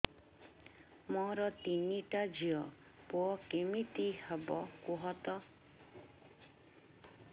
ମୋର ତିନିଟା ଝିଅ ପୁଅ କେମିତି ହବ କୁହତ